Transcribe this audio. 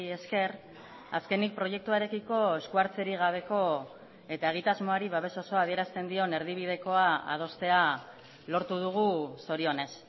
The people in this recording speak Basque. esker azkenik proiektuarekiko eskuhartzerik gabeko eta egitasmoari babes osoa adierazten dion erdibidekoa adostea lortu dugu zorionez